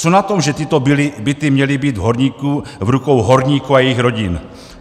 Co na tom, že tyto byty měly být v rukou horníků a jejich rodin?